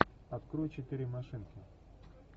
открой четыре машинки